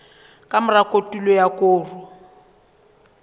ka mora kotulo ya koro